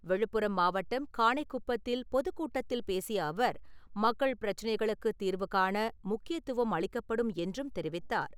விழுப்புரம் மாவட்டம் காணைகுப்பத்தில் பொதுக்கூட்டத்தில் பேசிய அவர், மக்கள் பிரச்சினைகளுக்குத் தீர்வுகாண முக்கியத்துவம் அளிக்கப்படும் என்றும் தெரிவித்தார்.